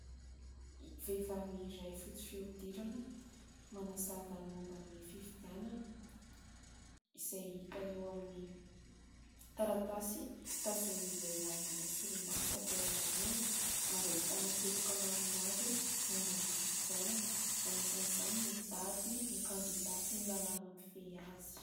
Vehivavy iray fotsy fihodirana manazava ny momba ny fifidianana izay hita eo amin'ny taratasy tazonin'ny lehilahy manao solomaso avy ao aoriana ary ahitana teboka maromaro momba ny fifidianana : anisan'izany ny daty, ny kandidà sy ny lalàna mifehy azy.